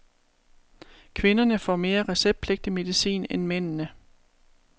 Kvinderne får mere receptpligtig medicin end mændene.